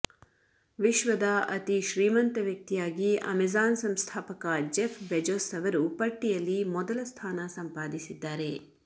ವಿಶ್ವದ ಅತಿ ಶ್ರೀಮಂತ ವ್ಯಕ್ತಿಯಾಗಿ ಅಮೆಜಾನ್ ಸಂಸ್ಥಾಪಕ ಜೆಫ್ ಬೆಜೊಸ್ ಅವರು ಪಟ್ಟಿಯಲ್ಲಿ ಮೊದಲ ಸ್ಥಾನ ಸಂಪಾದಿಸಿದ್ದಾರೆ